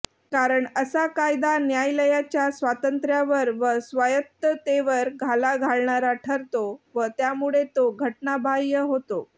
कारण असा कायदा न्यायालयाच्या स्वातंत्र्यावर व स्वायत्ततेवर घाला घालणारा ठरतो व त्यामुळे तो घटनाबाह्य होतो